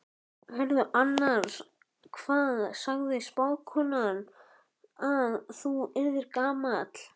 Heyrðu annars, hvað sagði spákonan að þú yrðir gamall?